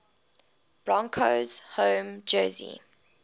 broncos home jersey